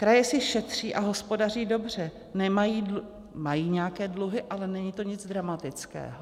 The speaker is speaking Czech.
Kraje si šetří a hospodaří dobře, mají nějaké dluhy, ale není to nic dramatického.